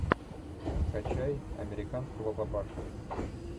скачай американского папашу